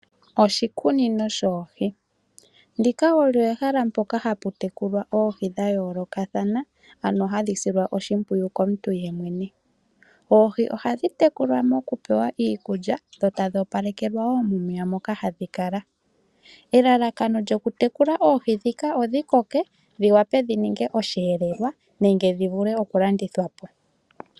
Oshikunino shoohii, ndika olyo ehala mpoka haputekula oohii dhayoloka thana ano hadhisilwa oshipwiyu komuntu yemwene, oohii ohadhi tekulwa mokupewa iikulya dho tadhi opalekelwa wo momeya moka hadhikala, elalakano lyokutekula oohii dhika odhikoke dhiwape dhininge oshelelwa nenge dhivule oku landithwapo.